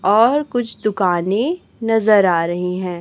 और कुछ दुकानें नजर आ रही हैं।